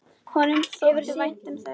Honum þótti vænt um þau.